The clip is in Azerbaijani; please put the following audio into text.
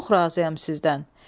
Çox razıyam sizdən.